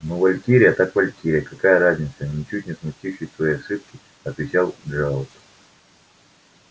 ну валькирия так валькирия какая разница ничуть не смутившись своей ошибки отвечал джералд